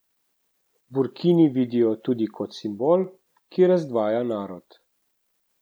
Burkini vidijo tudi kot simbol, ki razdvaja narod.